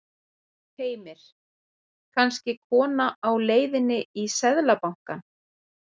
Heimir: Kannski kona á leiðinni í Seðlabankann?